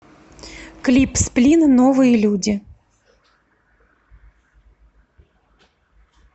клип сплин новые люди